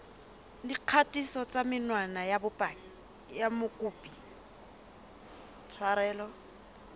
dikgatiso tsa menwana ya mokopi